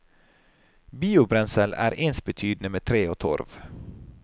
Biobrensel er ensbetydende med tre og torv.